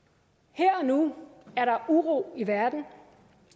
her og nu er der uro i verden